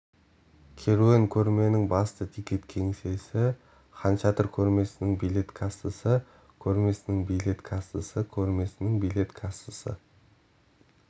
керуен көрменің басты тикет кеңсесі хан шатыр көрмесінің билет кассасы көрмесінің билет кассасы көрмесінің билет кассасы